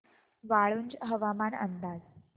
वाळूंज हवामान अंदाज